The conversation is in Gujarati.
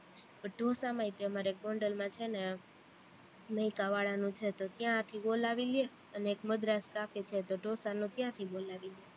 ઢોસામાં ય તે અમારે એક ગોંડલમાં છે ને મૈકા વાળાનું છે, તો ત્યાંથી બોલાવી લે અને એક મદ્રાસ છે તો ઢોસાનું ત્યાંથી બોલાવી લઇ